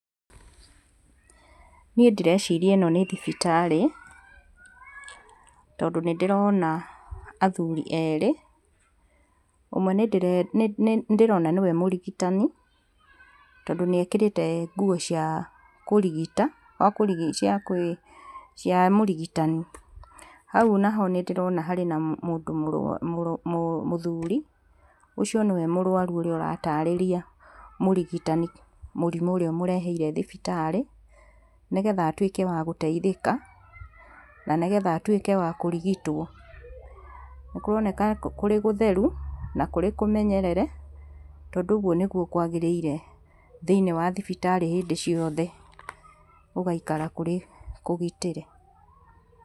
Niĩ ndĩreciria ĩno nĩ thibitarĩ, tondũ nĩ ndĩrona athuri erĩ ũmwe nĩ ndĩrona nĩwe mũrigitani tondũ nĩ ekĩrĩte nguo cia kũrigita cia mũrigitani. Hau naho nĩ ndĩrona harĩ na mũndũ mũthuri, ũcio niwe mũrwaru ũrĩa ũratarĩria mũrigitani mũrimũ ũrĩa ũmũrehire thibitarĩ nĩ getha atuĩke wa gũteithĩka, na nĩ getha atuĩke wa kũrigitwo. Nĩ kũroneka kũrĩ gũtheru na kũrĩ kũmenyerere tondũ ũguo nĩguo kwagĩrĩire thĩinĩ wa thibitarĩ hĩndĩ ciothe gũgaikara kũrĩ kũgitĩre.